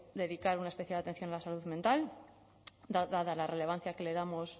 dedicar una especial atención a la salud mental dada la relevancia que le damos